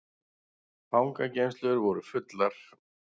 Fangageymslur voru fullar